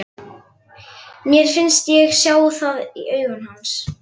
Mér fannst ég sjá það í augum hans.